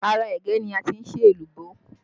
Ara ẹ̀gẹ́ ni a ti ń ṣe èlùbọ́